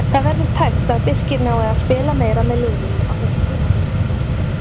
Það verður tæpt að Birkir nái að spila meira með liðinu á þessu tímabili.